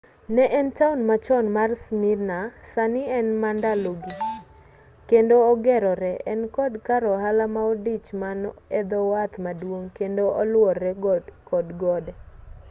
ne en town machon mar smyrna sani en mandalogi kendo ogerore en kod kar ohala maodich man edhowath maduong' kendo oluore kod gode